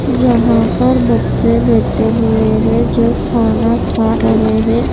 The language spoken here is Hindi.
यहां पर बच्चे बैठे हुए हैं जो खाना खा रहे हैं।